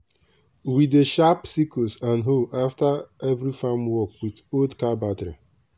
we dey sharp sickles and hoe after every farm work with old car battery.